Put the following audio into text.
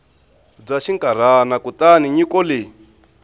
bya xinkarhana kutani nyiko leyi